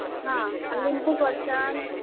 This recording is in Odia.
ହଁ, ଲେମ୍ବୁ କରସନ୍।